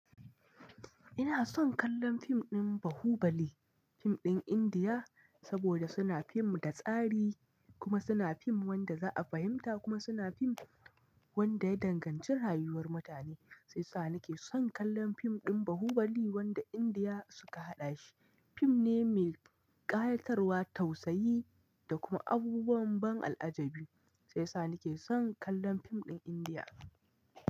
Ina son kallon fim ɗin Bahubali, fim ɗin Indiya, saboda suna fim da tsari kuma suna fim wanda za a fahimta kuma suna fim wanda ya danganci rayuwar mutane. Sai sa ni ke son kallon fim ɗin Bahubali wanda Indiya suka haɗa shi. Fim ne mai ƙayatarwa, tausayi da kuma abubuwan ban al'ajabi. Sai sa ni ke son kallon fim ɗin Indiya.